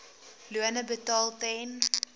lone betaal ten